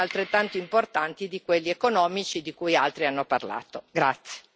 Credo che gli aspetti istituzionali siano altrettanto importanti di quelli economici di cui altri hanno parlato.